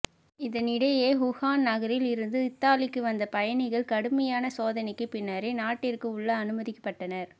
இதனிடையே ஊஹான் நகரில் இருந்து இத்தாலிக்கு வந்த பயணிகள் கடுமையான சோதனைக்கு பின்னரே நாட்டிற்கு உள்ளே அனுமதிக்கப்பட்டனர்